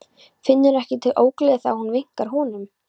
Finnur ekki til ógleði þegar hún vinkar honum.